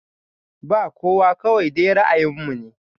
Ba kowa kawai dai ra'ayin mu ne